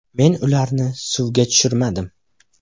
Men ularni suvga tushirmadim.